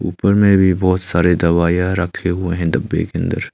ऊपर में भी बहुत सारी दवाइयां रखी हुई है डब्बा के अंदर।